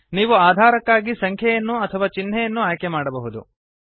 ನೀವು ಅಧಾರಕ್ಕಾಗಿ ಸಂಖ್ಯೆಯನ್ನು ಅಥವಾ ಚಿಹ್ನೆಯನ್ನು ಆಯ್ಕೆ ಮಾಡಬಹುದು